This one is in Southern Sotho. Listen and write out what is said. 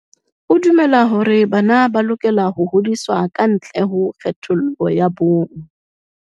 O dumela hore bana ba lokela ho hodiswa ka ntle ho kgethollo ya bong.